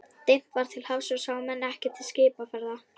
Dimmt var til hafs og sáu menn ekkert til skipaferða.